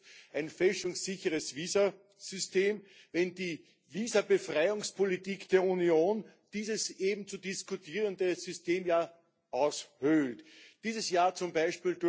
Was nützt ein fälschungssicheres Visasystem, wenn die Visabefreiungspolitik der Union dieses eben zu diskutierende System ja aushöhlt? Dieses Jahr z.